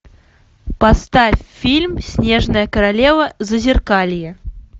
поставь фильм снежная королева зазеркалье